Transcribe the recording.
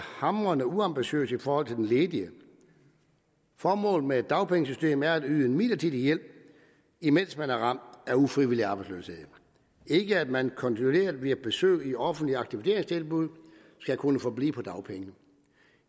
hamrende uambitiøst over for den ledige formålet med dagpengesystemet er at yde en midlertidig hjælp imens man er ramt af ufrivillig arbejdsløshed ikke at man kontinuerligt via besøg i offentlige aktiveringstilbud skal kunne forblive på dagpenge